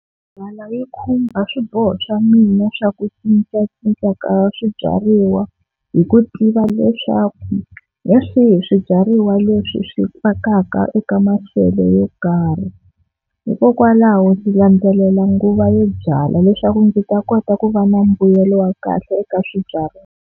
yi khumba swiboho swa mina swa ku cincacinca ka swibyariwa hi ku tiva leswaku hi swihi swibyariwa leswi swi fakaka eka maxelo yo karhi, hikokwalaho ndzi landzelela nguva yo byala leswaku ndzi ta kota ku va na mbuyelo wa kahle eka swibyariwa.